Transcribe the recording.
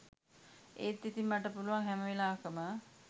ඒත් ඉතිං මට පුළුවන් හැම වෙලාවකම